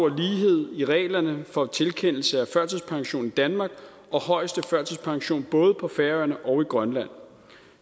lighed i reglerne for tilkendelse af førtidspension i danmark og højeste førtidspension både på færøerne og i grønland